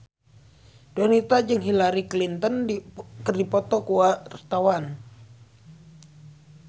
Donita jeung Hillary Clinton keur dipoto ku wartawan